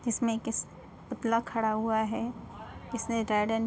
किसमे किस पुतला खड़ा हुआ है इसने रेड एंड --